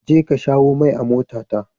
Je ka shawo mai a motata.